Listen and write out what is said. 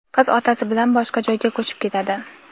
qiz otasi bilan boshqa joyga ko‘chib ketadi.